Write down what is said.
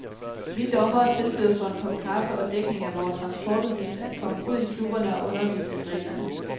Vi dommere tilbyder for en kop kaffe og dækning af vore transportudgifter at komme ud i klubberne og undervise i reglerne.